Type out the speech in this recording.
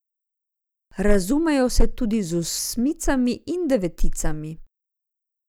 Razumejo se tudi z osmicami in deveticami.